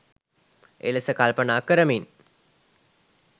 එලෙස කල්පනා කරමින්